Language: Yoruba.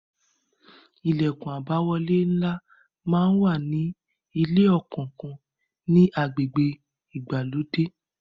Ilẹkun àbáwọlé ńlá máa wà ní ilé kọ̀ọ̀kan ni agbègbè ìgbàlódé.